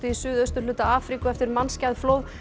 suðausturhluta Afríku eftir mannskæð flóð